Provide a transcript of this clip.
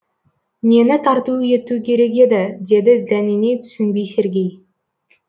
нені тарту ету керек еді деді дәнеңе түсінбей сергей